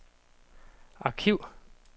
arkiv